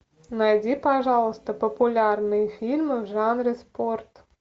найди пожалуйста популярные фильмы в жанре спорт